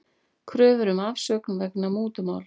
Kröfur um afsögn vegna mútumáls